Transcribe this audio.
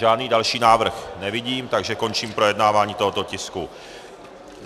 Žádný další návrh nevidím, takže končím projednávání tohoto tisku.